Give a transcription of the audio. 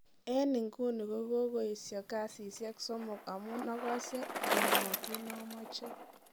En ebguni kogoesi kasisiek somook amuun agose ole mogiinomoche.